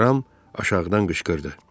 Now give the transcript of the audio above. Ram aşağıdan qışqırdı.